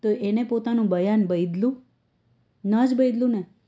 તો એને પોતાનું બયાન બય્દલ્યું ના જ બદલ્યું ને